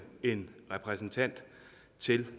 til